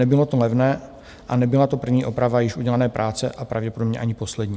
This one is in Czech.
Nebylo to levné a nebyla to první oprava již udělané práce a pravděpodobně ani poslední.